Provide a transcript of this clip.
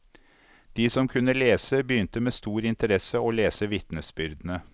De som kunne lese, begynte med stor interesse å lese vitnesbyrdene.